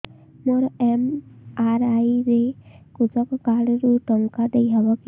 ମୋର ଏମ.ଆର.ଆଇ ରେ କୃଷକ କାର୍ଡ ରୁ ଟଙ୍କା ଦେଇ ହବ କି